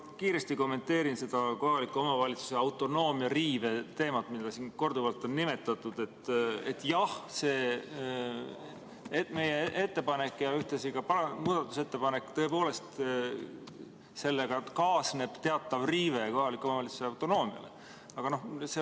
Ma kiiresti kommenteerin kohaliku omavalitsuse autonoomia riive teemat, mida siin korduvalt on nimetatud, et meie ettepaneku ja ühtlasi muudatusettepanekuga tõepoolest kaasneb teatav kohalike omavalitsuste autonoomia riive.